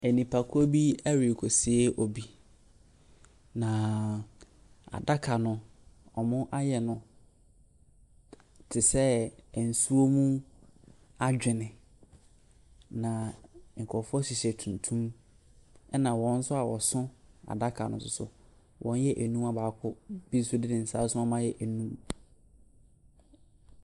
Nnipakuo bi rekɔsie obi, na adaka no, wɔayɛ no te sɛ nsuo mu adwene. Na nkurɔfoɔ hyehyɛ tuntum, ɛna wɔn nso a wɔsoso adaka no nso so, wɔyɛ nnum, a baako bo nso de ne nsa asɔ mu ama no ayɛ nnum.